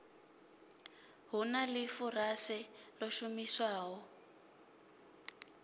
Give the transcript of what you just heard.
hu na ḽifurase ḽo shumiswaho